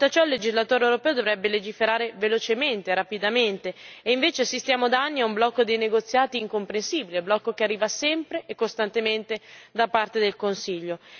Di fronte a ciò il legislatore europeo dovrebbe legiferare velocemente, rapidamente, e invece assistiamo da anni a un blocco dei negoziati incomprensibile, blocco che arriva sempre e costantemente da parte del Consiglio.